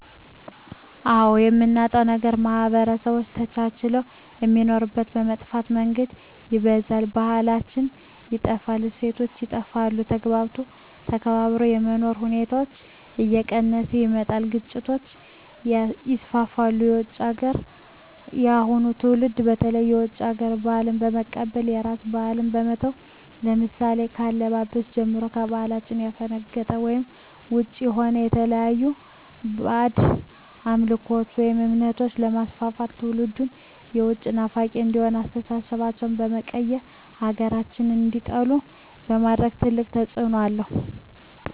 አዎ የምናጣዉ ነገር ማህበረሰቦች ተቻችለዉ የሚኖሩትን በመጥፋ መንገድ ይበርዛል ባህላችን ይጠፋል እሴቶች ይጠፋል ተግባብቶ ተከባብሮ የመኖር ሁኔታዎች እየቀነሰ ይመጣል ግጭቶች ይስፍፍሉ የዉጭ ሀገራትን የአሁኑ ትዉልድ በተለይ የዉጭ ሀገር ባህልን በመቀበል የራስን ባህል በመተዉ ለምሳሌ ከአለባበስጀምሮ ከባህላችን ያፈነቀጠ ወይም ዉጭ የሆነ የተለያዩ ባእጅ አምልኮችን ወይም እምነቶችንበማስፍፍት ትዉልዱም የዉጭ ናፋቂ እንዲሆን አስተሳሰባቸዉ በመቀየር ሀገራቸዉን እንዲጠሉ በማድረግ ትልቅ ተፅዕኖ አለዉ